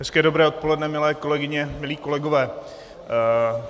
Hezké dobré odpoledne, milé kolegyně, milí kolegové.